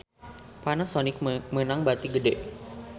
Panasonic meunang bati gede